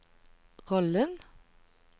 rollen